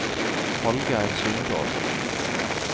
Hallgeir Sundal